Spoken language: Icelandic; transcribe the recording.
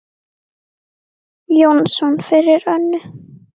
Jónsson fyrir Önnu.